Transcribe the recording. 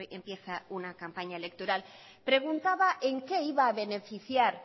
empieza una campaña electoral preguntaba en qué iba a beneficiar